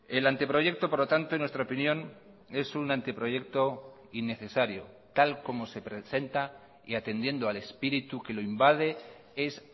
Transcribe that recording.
el anteproyecto por lo tanto en nuestra opinión es un anteproyecto innecesario tal como se presenta y atendiendo al espíritu que lo invade es